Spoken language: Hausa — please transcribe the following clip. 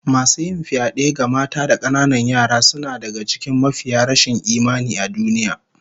Masu yin fyade ga mata da kananan yara suna daga cikin mafiya rashin imani a duniya